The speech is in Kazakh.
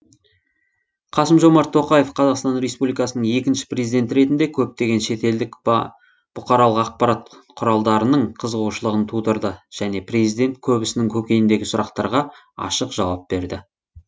қасым жомарт тоқаев қазақстан республикасының екінші президенті ретінде көптеген шетелдік бақ тың қызығушылығын тудырды және президент көбісінің көкейіндегі сұрақтарға ашық жауап берді